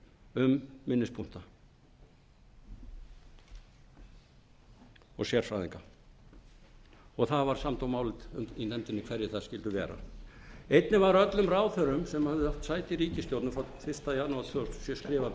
um minnispunkta það var samdóma álit í nefndinni um hverjir það skyldu vera einnig var öllum ráðherrum sem höfðu átt sæti í ríkisstjórn frá fyrsta janúar tvö þúsund